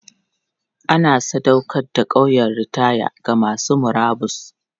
An sadaukar da ƙauyen ritaya ga masu murabus.